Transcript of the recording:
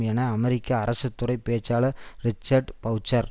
என அமெரிக்க அரசு துறை பேச்சாளர் ரிச்சர்ட் பெளச்சர்